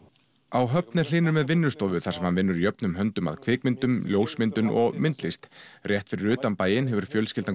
á Höfn er Hlynur með vinnustofu þar sem vinnur jöfnum höndum að kvikmyndum ljósmyndun og myndlist rétt fyrir utan bæinn hefur fjölskyldan